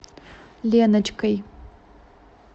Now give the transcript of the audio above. леночкой